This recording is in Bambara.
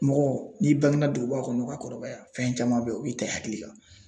Mɔgɔ n'i bange na duguba kɔnɔ ka kɔrɔbaya fɛn caman be yen, o b'i ta i hakili kan.